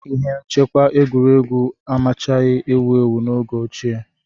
Ihe nchekwa egwuregwu amachaghị ewu ewu n'oge ochie.